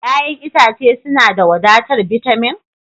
Ya'yan itace suna da wadatar bitamin?